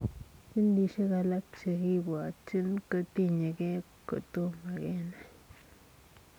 Ginisiek alaak chekibwatchiin kotinyegei kotomaa kenai.